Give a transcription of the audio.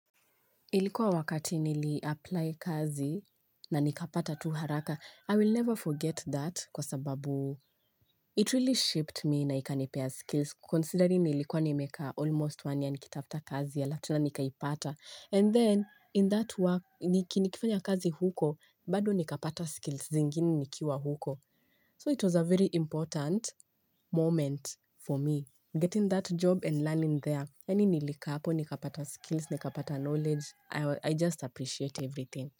Ilikuwa wakati nili apply kazi na nikapata tu haraka. I will never forget that kwa sababu it really shaped me na ikanipea skills considering nilikuwa nimeka almost one year nikitafuta kazi halafu tena nikaipata. And then in that work, nikifanya kazi huko, bado nikapata skills zingine nikiwa huko. So it was a very important moment for me getting that job and learning there. Yani nilikaa hapo, nikapata skills, nikapata knowledge. I just appreciate everything.